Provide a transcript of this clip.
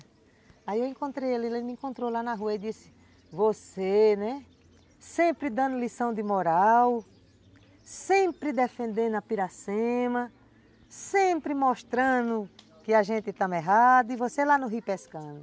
Aí eu encontrei ele, ele me encontrou lá na rua e disse, você né, sempre dando lição de moral, sempre defendendo a Piracema, sempre mostrando que a gente estava errado e você lá no rio pescando.